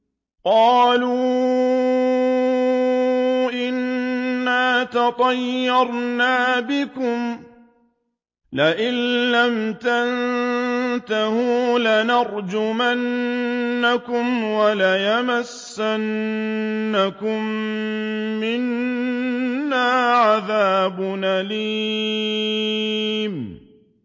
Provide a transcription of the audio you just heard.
قَالُوا إِنَّا تَطَيَّرْنَا بِكُمْ ۖ لَئِن لَّمْ تَنتَهُوا لَنَرْجُمَنَّكُمْ وَلَيَمَسَّنَّكُم مِّنَّا عَذَابٌ أَلِيمٌ